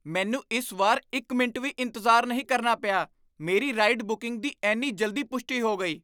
ਮੈਨੂੰ ਇਸ ਵਾਰ ਇੱਕ ਮਿੰਟ ਵੀ ਇੰਤਜ਼ਾਰ ਨਹੀਂ ਕਰਨਾ ਪਿਆ। ਮੇਰੀ ਰਾਈਡ ਬੁਕਿੰਗ ਦੀ ਇੰਨੀ ਜਲਦੀ ਪੁਸ਼ਟੀ ਹੋ ਗਈ!